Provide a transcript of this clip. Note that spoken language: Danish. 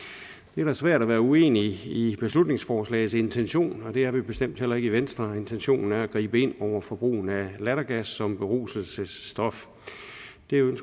det er da svært at være uenig i beslutningsforslagets intention det er vi bestemt heller ikke i venstre intentionen er at gribe ind over for brugen af lattergas som beruselsesstof